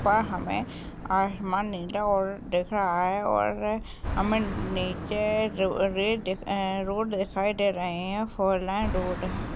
पर हमें आसमान नीला और दिख रहा है और हमें नीचे जो रे रोड दिखाई दे रही है। फोर लाइन रोड है।